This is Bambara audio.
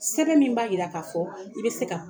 Sɛbɛn min b'a jira k'a fɔ i bɛ se ka